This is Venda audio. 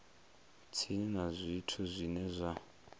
tsini na zwithu zwine zwa